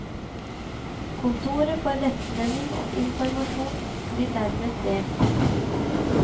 Kontoret for rettledning og informasjon blir dermed delt.